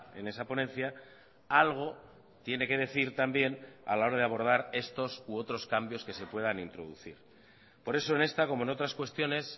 en esa ponencia algo tiene que decir también a la hora de abordar estos u otros cambios que se puedan introducir por eso en esta como en otras cuestiones